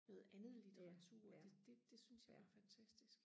noget andet litteratur det det det syntes jeg var fantastisk